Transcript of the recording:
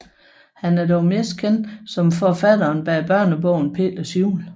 Han er dog mest kendt som forfatteren bag børnebogen Peters Jul